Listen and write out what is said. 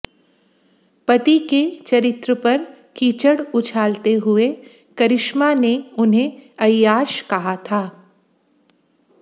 पति के चरित्र पर कीचड़ उछालते हुए करिश्मा ने उन्हें ऐय्याश कहा था